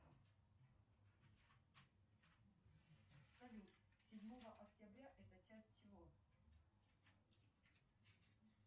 джой у юлии германовны есть личный водитель